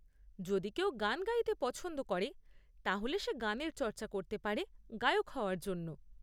যদি কেউ গান গাইতে পছন্দ করে তাহলে সে গানের চর্চা করতে পারে গায়ক হওয়ার জন্য।